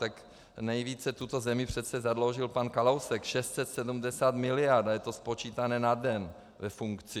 Tak nejvíce tuto zemi přece zadlužil pan Kalousek, 670 miliard, a je to spočítané na den ve funkci.